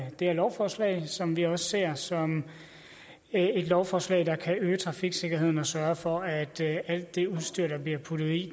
det her lovforslag som vi også ser som et lovforslag der kan øge trafiksikkerheden og sørge for at alt det udstyr der bliver puttet i